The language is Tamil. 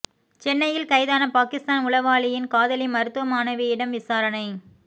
சென்னையில் கைதான பாகிஸ்தான் உளவாளியின் காதலி மருத்துவ மாணவியிடம் விசாரணை